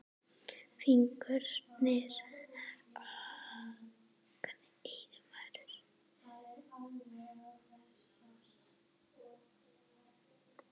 Fingur hans voru langir.